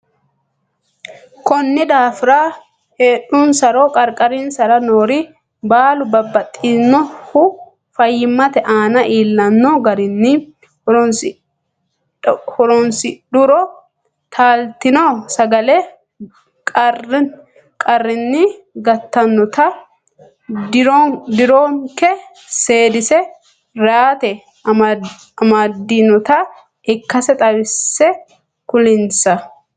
Konni daafira heedhunsaro qarqarinsara noori baalu babbaxxinohu fayyimmate aana iillanno garunni horoonsidhuro taaltino sagale qarrinni gatatenna dironke seedisi rate amadinota ikkase xawisse kulinsa.